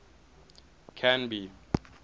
canby